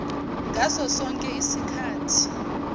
ngaso sonke isikhathi